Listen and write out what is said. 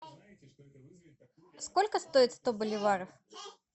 сколько стоит сто боливаров